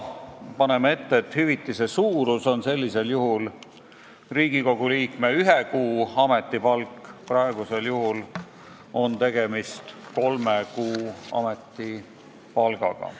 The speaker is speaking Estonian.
Me paneme ette, et hüvitise suurus on sellisel juhul Riigikogu liikme ühe kuu ametipalk, praegu on tegemist kolme kuu ametipalgaga.